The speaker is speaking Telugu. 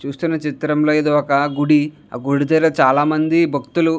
చూస్తున్న చిత్రంలో ఇది ఒక గుడి ఆ గుడి దగ్గర చాల మంది భక్తులు --